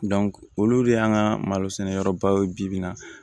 olu de y'an ka malo sɛnɛ yɔrɔbaw ye bi-bi in na